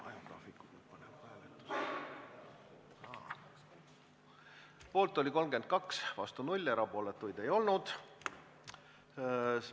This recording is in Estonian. Hääletustulemused Poolt oli 32, vastu 0, erapooletuid ei olnud.